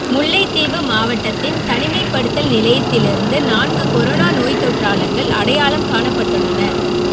முல்லைத்தீவு மாவட்டத்தின் தனிமைப்படுத்தல் நிலையத்திலிருந்து நான்கு கொரோனா நோய்த்தொற்றாளர்கள் அடையாளம் காணப்பட்டுள்ளனர்